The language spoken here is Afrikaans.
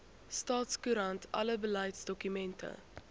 staatskoerant alle beleidsdokumente